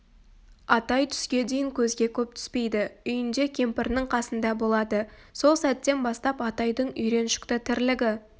атай түске дейін көзге көп түспейді үйінде кемпірінің қасында болады сол сәттен бастап атайдың үйреншікті тірлігі